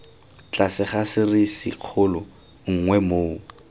tlase ga serisikgolo nngwe moo